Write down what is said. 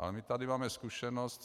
A my tady máme zkušenost